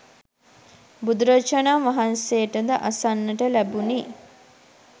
බුදුරජාණන් වහන්සේට ද අසන්නට ලැබුණි.